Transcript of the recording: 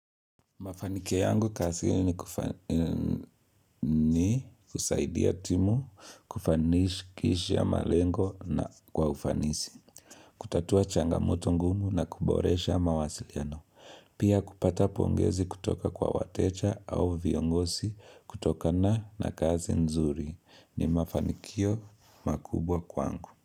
Mafanikio yangu kasini kufani, ni kusaidia timu, kufanishikishia malengo na kwa ufanisi. Kutatua changamoto ngumu na kuboresha mawasiliano. Pia kupata pongezi kutoka kwa watecha au viongosi kutokana na kazi nzuri. Ni mafanikio makubwa kwangu.